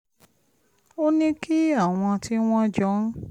ó ní kí àwọn tí wọ́n jọ ń